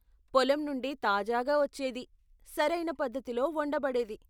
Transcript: పొలం నుండి తాజాగా వచ్చేది, సరయిన పద్దతిలో వండబడేది.